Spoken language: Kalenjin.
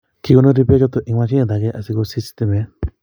Kekonori pek choto eng mashinit ake asikosich stimet